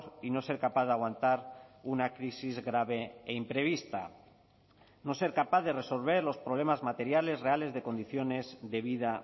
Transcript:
y no ser capaz de aguantar una crisis grave e imprevista no ser capaz de resolver los problemas materiales reales de condiciones de vida